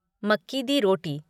मक्की दी रोटी